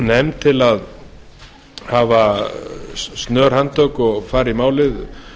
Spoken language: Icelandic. nefnd til að hafa snör handtök og fara í málið